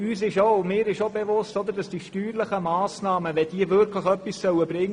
Vielleicht gibt es noch andere Möglichkeiten.